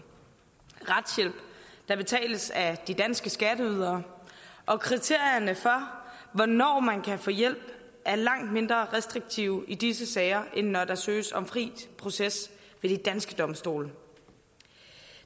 retshjælp der betales af de danske skatteydere og kriterierne for hvornår man kan få hjælp er langt mindre restriktive i disse sager end når der søges om fri proces ved de danske domstole